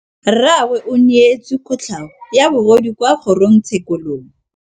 Rragwe o neetswe kotlhaô ya bogodu kwa kgoro tshêkêlông.